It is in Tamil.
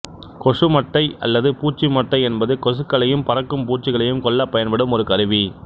கொசு மட்டை அல்லது பூச்சி மட்டை என்பது கொசுக்களையும் பறக்கும் பூச்சிகளையும் கொல்லப் பயன்படும் ஒரு கருவி